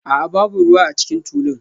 A'a, babu ruwa a cikin tulun